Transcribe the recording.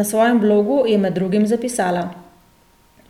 Na svojem blogu je med drugim zapisala: